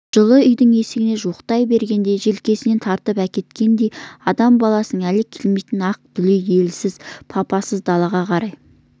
жылы үйдің есігіне жуықтай бергенде желкесінен тартып әкеткендей адам баласының әлі келмейтін ақ дүлей елсіз папасыз далаға қарай